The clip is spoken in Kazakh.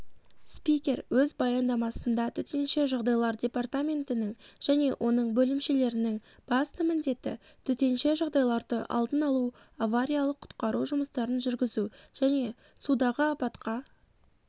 спикер өз баяндамасында төтенше жағдайлар департаментінің және оның бөлімшелерінің басты міндеті төтенше жағдайларды алдын алу авариялық-құтқару жұмыстарын жүргізу және судағы апатқа